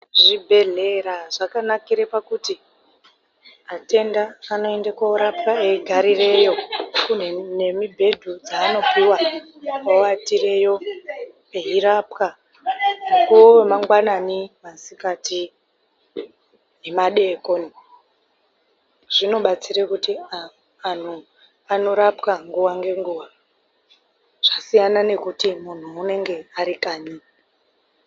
Zvibhedhlera zvakanakira pakuti atenda anoenda koorapwa eigarirayo. Kune nemibhedhu dzanopuwa oatireyo, eirapwa. Mukuwo we mangwanani, masikati nemadekoni. Zvinobatsira kuti anhu anorapwa nguwa nenguwa. Zvasiyana nekuti muntu unenge ari kanyi.